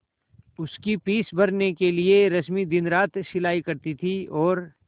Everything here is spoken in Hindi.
उसकी फीस भरने के लिए रश्मि दिनरात सिलाई करती थी और